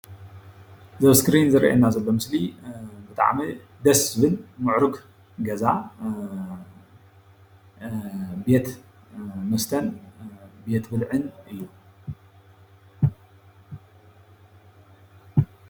እዚ ኣብ እስክሪን ዝረአየና ዘሎ ምስሊ ብጣዕሚ ደስ ዝብል ምዕሩግ ገዛ ቤት መስተን ቤት ብልዕን እዩ፡፡